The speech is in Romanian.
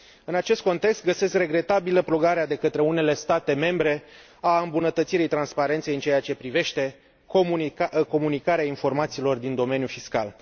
În acest context, găsesc regretabilă blocarea de către unele state membre a îmbunătățirii transparenței în ceea ce privește comunicarea informațiilor din domeniul fiscal.